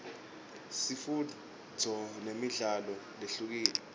sifundzo nemidlalo lehlukile